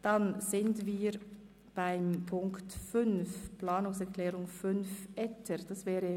Damit sind wir bei der Planungserklärung 5, Etter, angelangt.